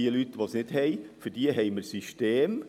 Für Leute, die das Geld nicht haben, haben wir Systeme.